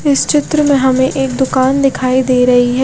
इस चित्र में हमे एक दूकान दिखाई दे रही है।